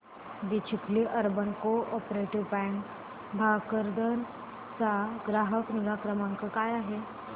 दि Chikhli urban cooperative bank Bhokardan चा ग्राहक निगा क्रमांक काय आहे